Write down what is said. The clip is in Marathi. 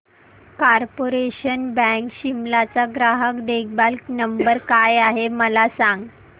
कार्पोरेशन बँक शिमला चा ग्राहक देखभाल नंबर काय आहे मला सांग